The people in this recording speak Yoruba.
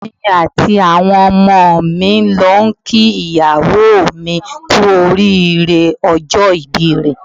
Èmi àti àwọn ọmọ mi ń lọ ń kí ìyàwó mi kú oríire ọjọ́ ìbí rẹ̀.